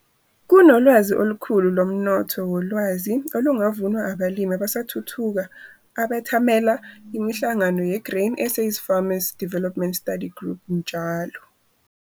Kunolwazi olukhulu lomnotho wolwazi olungavunwa abalimi abasathuthuka abethamela imihlangano yeGrain SA's Farmer Development study group njalo.